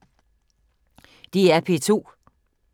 DR P2